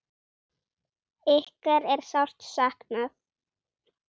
Ykkar er sárt saknað.